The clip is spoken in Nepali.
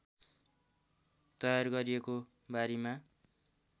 तयार गरिएको बारीमा